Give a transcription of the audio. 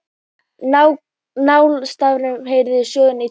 Lánastarfsemin heyrir sögunni til